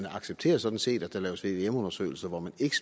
accepteres sådan set at der laves vvm undersøgelser hvor man ikke